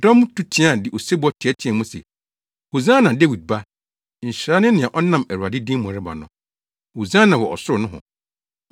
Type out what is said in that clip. Dɔm no tu teɛe de osebɔ teɛteɛɛ mu se, “Hosiana Dawid Ba!” “Nhyira ne nea ɔnam Awurade din mu reba no.” “Hosiana wɔ ɔsoro nohɔ!”